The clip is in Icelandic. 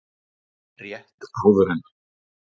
Rétt áður en